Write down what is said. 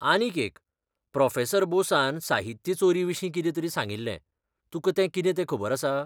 आनीक एक, प्रो. बोसान साहित्य चोरी विशीं कितें तरी सांगिल्लें, तुका तें कितें तें खबर आसा?